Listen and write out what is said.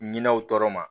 Minɛnw tɔɔrɔ ma